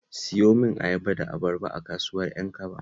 Siyo min ayaba da abarba a kasuwar Ƴankaba